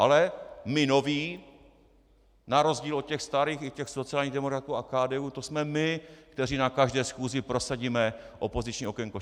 Ale my noví na rozdíl od těch starých, i těch sociálních demokratů a KDU, to jsme my, kteří na každé schůzi prosadíme opoziční okénko.